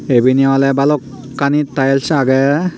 ibeni ole bhalokkani tiles agey.